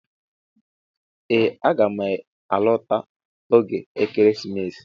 Ee aga m alọta oge ekeresimesi